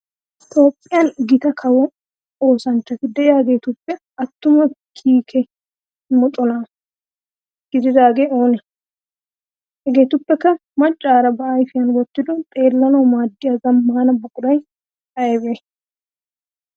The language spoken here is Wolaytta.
Toophphiyan gitaa kawo oosanchchatti de'iyaagettuppe atumaa kiike moconna gididdaage oone? Hagettuppekka macaara ba ayfiyan wotido xeelannawu maadiyaa zamaana buquray aybee?